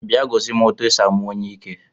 Bịa gosi m etu e si amụ onyiike